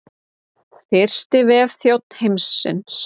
Fyrsti vefþjónn heims.